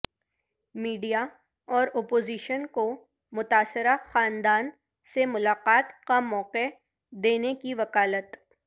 media اورا پوزیشن کو متاثرہ خاندان سے ملاقات کا موقع دینے کی وکالت